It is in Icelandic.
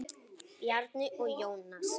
Bjarni og Jónas.